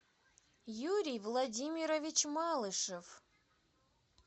юрий владимирович малышев